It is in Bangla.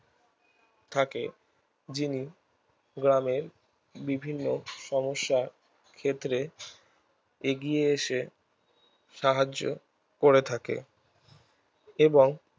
থাকে যিনি গ্রামের বিভিন্ন সমস্যার ক্ষেত্রে এগিয়ে এসে সাহায্য করে থাকে এবং